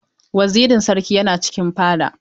Wazirin sarki yana cikin fada.